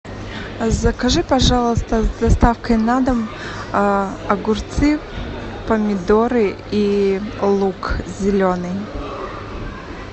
закажи пожалуйста с доставкой на дом огурцы помидоры и лук зеленый